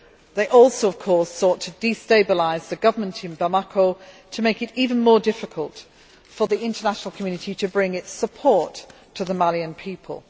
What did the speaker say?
They also, of course, sought to destabilise the government in Bamako to make it even more difficult for the international community to bring its support to the Malian people.